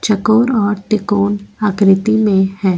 चकोर और त्रिकोण आकृति में है।